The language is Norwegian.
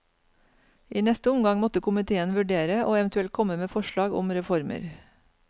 I neste omgang måtte komiteen vurdere og eventuelt komme med forslag om reformer.